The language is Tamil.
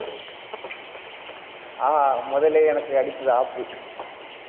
ஆஹா முதல்லே எனக்கு அடித்தது ஆப்பு